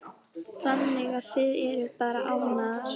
Þannig að þið eruð bara ánægðar?